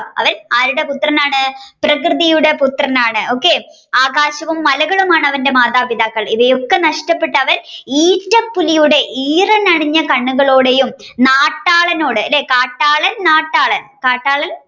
അവൻ ആരുടെ പുത്രൻ ആണ് പ്രകൃതിയുടെ പുത്രൻ ആണ് ആകാശവും മലകളുമാണ് അവന്റെ മാതാപിതാക്കൾ ഇവയൊക്കെ നഷ്ട്ടപെട്ടു അവൻ ഈറ്റപ്പുലിയുടെ ഈറൻ അണിഞ്ഞ കണ്ണുകളോടെയും നാട്ടാളനോട് അല്ലെ കാട്ടാളൻ നാട്ടാളൻ കാട്ടാളൻ